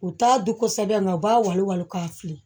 U t'a dun kosɛbɛ nka u b'a wali wali k'a fili